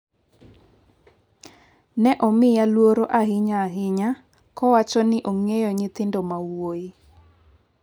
Ne omiya luoro ahinya ahinya ka owacho ni ong’eyo nyithindo ma wuoyi.